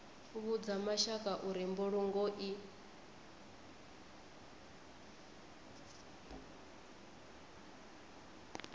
vhudza mashaka uri mbulungo i